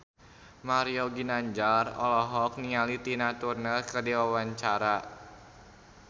Mario Ginanjar olohok ningali Tina Turner keur diwawancara